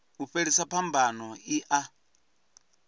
u fhelisa phambano i a